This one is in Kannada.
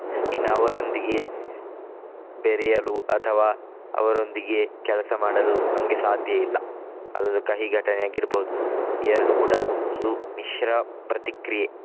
ಇನ್ನು ಅವರೊಂದಿಗೆ ಬೆರೆಯಲು ಅಥವಾ ಅವರೊಂದಿಗೆ ಕೆಲಸ ಮಾಡಲು ನಮ್ಗೆ ಸಾಧ್ಯ ಇಲ್ಲ. ಅದೊಂದು ಕಹಿ ಘಟನೆ ಆಗಿರ್ಬಹುದು. ಎರಡು ಕೂಡ ಒಂದು ಮಿಶ್ರ ಪ್ರತಿಕ್ರಿಯೆ.